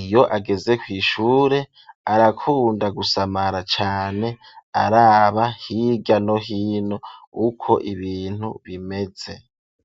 iyo ageze kw'ishure arakunda gusamara cane araba hirya no hino uko ibintu bimeze.